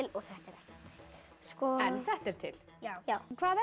en þetta er til já hvað er